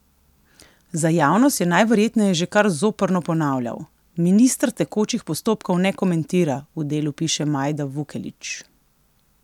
Za javnost je najverjetneje že kar zoprno ponavljal: "Minister tekočih postopkov ne komentira," v Delu piše Majda Vukelić.